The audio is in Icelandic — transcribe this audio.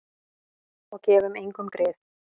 Og gefum engum grið.